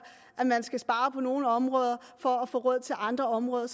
at man skal spare på nogle områder for at få råd til andre områder